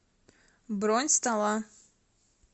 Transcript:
бронь стола